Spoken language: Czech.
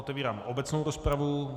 Otevírám obecnou rozpravu.